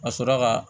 Ka sɔrɔ ka